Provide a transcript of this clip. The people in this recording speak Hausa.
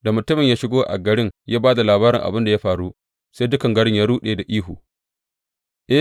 Da mutumin ya shigo a garin ya ba da labarin abin da ya faru sai dukan gari ya ruɗe da ihu.